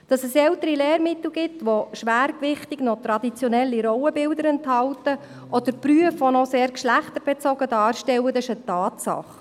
Dass es ältere Lehrmittel gibt, die schwergewichtig noch traditionelle Rollenbilder enthalten oder Berufe noch sehr geschlechterbezogen darstellen, ist eine Tatsache.